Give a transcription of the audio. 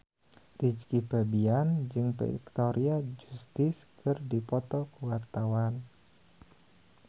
Rizky Febian jeung Victoria Justice keur dipoto ku wartawan